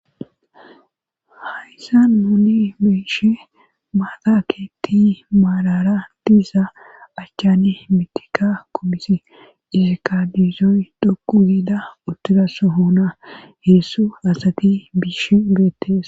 hayssa nuni be'ishe maata keeti maalara diisa achchane mitika kumisi erkabiizoy dhokku giida uttidassohona heessu asati biishi beettes